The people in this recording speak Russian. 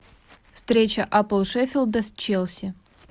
встреча апл шеффилда с челси